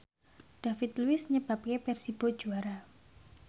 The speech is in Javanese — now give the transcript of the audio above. David Luiz nyebabke Persibo juara